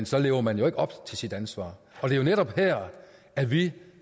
så lever man jo ikke op til sit ansvar og det er netop her at vi